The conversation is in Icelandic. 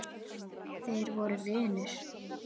Þeir voru vinir.